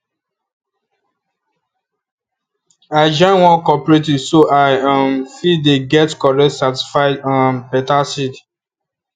i join one cooperative so i um fit dey get correct certified um better seeds